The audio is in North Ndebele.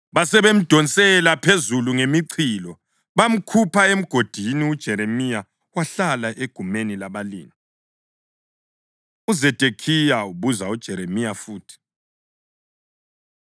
basebemdonsela phezulu ngemichilo, bamkhupha emgodini. UJeremiya wahlala egumeni labalindi. UZedekhiya Ubuza UJeremiya Futhi